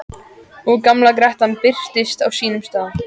Og gamla grettan birtist á sínum stað.